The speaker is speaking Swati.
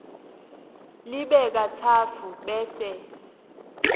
libe katsatfu bese